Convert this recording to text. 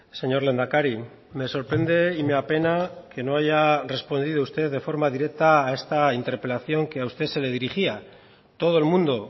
señor lehendakari me sorprende y me apena que no haya respondido usted de forma directa a esta interpelación que a usted se le dirigía todo el mundo